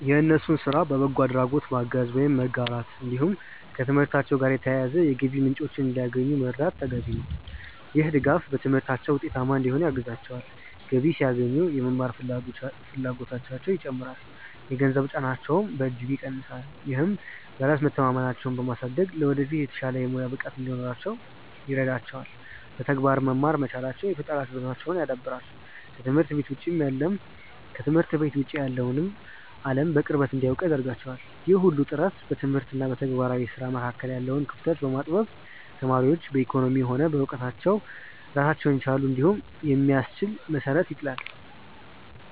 የእነሱን ስራ በበጎ አድራጎት ማገዝ ወይም መጋራት፣ እንዲሁም ከትምህርታቸው ጋር የተያያዙ የገቢ ምንጮችን እንዲያገኙ መርዳት ተገቢ ነው። ይህ ድጋፍ በትምህርታቸው ውጤታማ እንዲሆኑ ያግዛቸዋል፤ ገቢ ሲያገኙ የመማር ፍላጎታቸውም ይጨምራል፣ የገንዘብ ጫናቸውንም በእጅጉ ይቀንሳል። ይህም በራስ መተማመናቸውን በማሳደግ ለወደፊት የተሻለ የሙያ ብቃት እንዲኖራቸው ይረዳቸዋል። በተግባር መማር መቻላቸው የፈጠራ ችሎታቸውን ያዳብራል፤ ከትምህርት ቤት ውጭ ያለውን አለም በቅርበት እንዲያውቁ ያደርጋቸዋል። ይህ ሁሉ ጥረት በትምህርት እና በተግባራዊ ስራ መካከል ያለውን ክፍተት በማጥበብ ተማሪዎች በኢኮኖሚም ሆነ በእውቀት ራሳቸውን የቻሉ እንዲሆኑ የሚያስችል መሰረት ይጥላል።